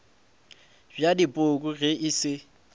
bja dipoko ge e se